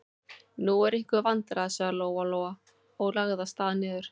Nú eru einhver vandræði, sagði Lóa-Lóa og lagði af stað niður.